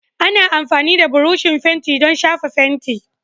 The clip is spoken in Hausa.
Ana amfani da burushin fenti don shafa fenti